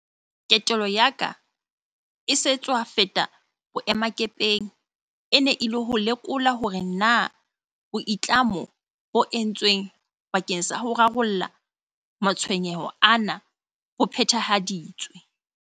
Ketelo ya ka e sa tswa feta boemakepeng e ne e le ho ilo lekola hore na boitlamo bo entsweng bakeng sa ho rarolla matshwe nyeho ana bo phethahaditswe.